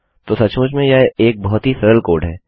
तो सचमुच में यह एक बहुत ही सरल कोड है